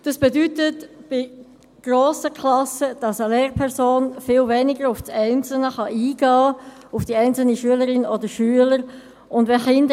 Dies bedeutet bei grossen Klassen, dass eine Lehrperson viel weniger auf die einzelnen Schülerinnen und Schüler eingehen kann.